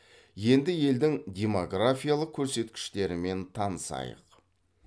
енді елдің демографиялық көрсеткіштерімен танысайық